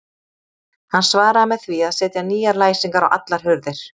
Hann svaraði með því að setja nýjar læsingar á allar hurðir.